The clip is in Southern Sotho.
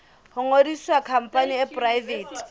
ho ngodisa khampani e poraefete